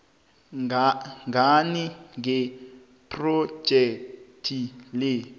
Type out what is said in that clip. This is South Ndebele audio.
ngani ngephrojekhthi le